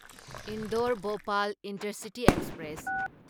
Indore Bhopal intercity express